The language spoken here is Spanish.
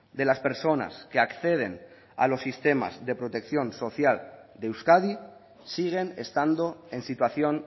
de las personas que acceden a los sistemas de protección social de euskadi siguen estando en situación